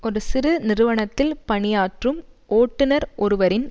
ஒரு சிறு நிறுவனத்தில் பணியாற்றும் ஓட்டுனர் ஒருவரின்